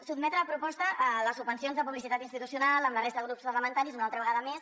sotmetre a proposta les subvencions de publicitat institucional amb la resta de grups parlamentaris una altra vegada més